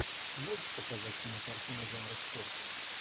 можешь показать кинокартину жанра спорт